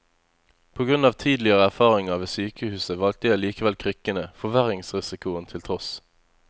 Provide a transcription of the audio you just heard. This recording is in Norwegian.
På grunn av tidligere erfaringer ved sykehuset valgte jeg likevel krykkene, forverringsrisikoen til tross.